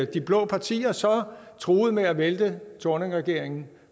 de blå partier så truede med at vælte thorningregeringen